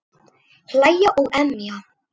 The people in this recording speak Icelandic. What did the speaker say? Hlæja og emja.